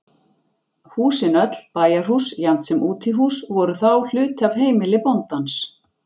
Húsin öll, bæjarhús jafnt sem útihús, voru þá hluti af heimili bóndans.